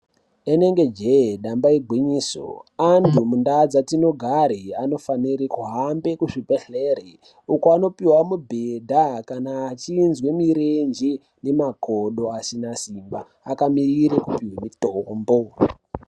Rinenge jee, damba igwinyiso, antu mundau dzetinogare, anofanire kuhambe kuzvibhedhlere uko vanopiwa mibhedha kana achizwe mirenje nemakodo asine simba akamirire kupiwe mitombo.